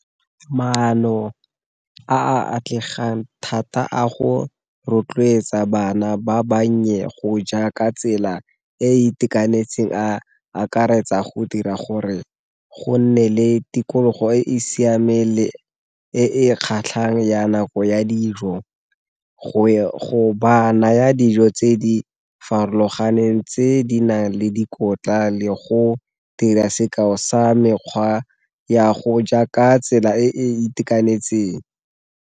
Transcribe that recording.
Maano a atlegang thata a go rotloetsa bana ba bannye go ja ka tsela e e itekanetseng a akaretsa go dira gore go nne le tikologo e e siameng le e kgatlhang ya nako ya dijo, go ba naya dijo tse di farologaneng tse di nang le dikotla le go dira sekao sa mekgwa ya go ja ka tsela e e itekanetseng.